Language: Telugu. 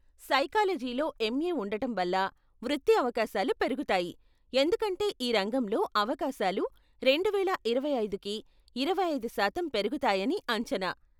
సైకాలజీలో ఎంఏ ఉండటం వల్ల వృత్తి అవకాశాలు పెరుగుతాయి, ఎందుకంటే ఈ రంగంలో అవకాశాలు రెండువేల ఇరవై ఐదుకి ఇరవై ఐదు శాతం పెరుగుతాయని అంచనా.